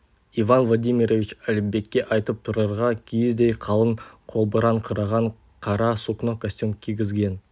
иван владимирович әліпбекке айтып тұрарға киіздей қалың қолбыраңқыраған қара сукно костюм кигізген